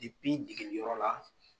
degeliyɔrɔ la.